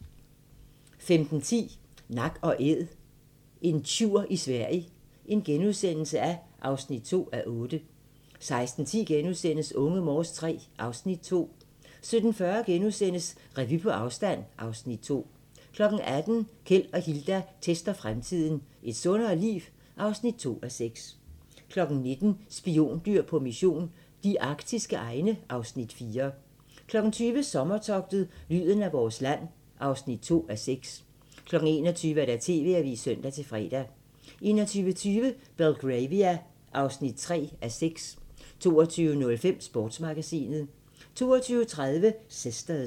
15:10: Nak & Æd - en tjur i Sverige (2:8)* 16:10: Unge Morse III (Afs. 2)* 17:40: Revy på afstand (Afs. 2)* 18:00: Keld og Hilda tester fremtiden - Et sundere liv? (2:6) 19:00: Spiondyr på mission - de arktiske egne (Afs. 4) 20:00: Sommertogtet - lyden af vores land (2:6) 21:00: TV-avisen (søn-fre) 21:20: Belgravia (3:6) 22:05: Sportsmagasinet 22:30: Sisters